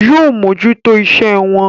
Yóò mójútó iṣẹ́ ẹ wọn.